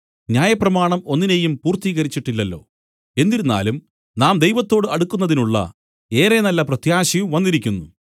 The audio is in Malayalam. ന്യായപ്രമാണം ഒന്നിനേയും പൂർത്തീകരിച്ചിട്ടില്ലല്ലോ എന്നിരുന്നാലും നാം ദൈവത്തോടു അടുക്കുന്നതിനുള്ള ഏറെ നല്ല പ്രത്യാശയും വന്നിരിക്കുന്നു